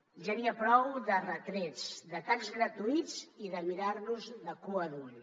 ja n’hi ha prou de retrets d’atacs gratuïts i de mirar nos de cua d’ull